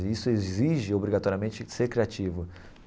E isso exige, obrigatoriamente, ser criativo.